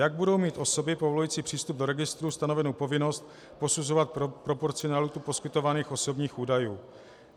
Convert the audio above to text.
Jak budou mít osoby povolující přístup do registrů stanovenu povinnost posuzovat proporcionalitu poskytovaných osobních údajů?